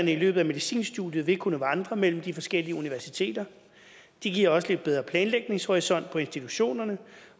i løbet af medicinstudiet vil kunne vandre mellem de forskellige universiteter det giver også en lidt bedre planlægningshorisont på institutionerne